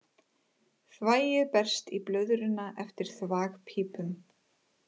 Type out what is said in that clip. Þvagið berst í blöðruna eftir þvagpípum.